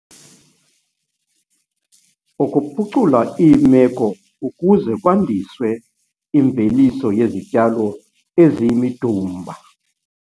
Ukuphucula iimeko ukuze kwandiswe imveliso yezityalo eziyimidumba